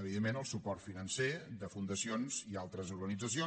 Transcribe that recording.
evidentment el suport financer de fundacions i altres organitzacions